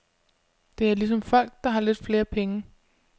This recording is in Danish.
Det er ligesom folk, der har lidt flere penge.